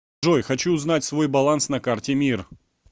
джой хочу узнать свой баланс на карте мир